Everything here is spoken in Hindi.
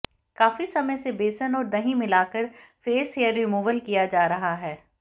काफी समय से बेसन और दही मिलाकर फेस हेयर रिमूवल किया जा रहा है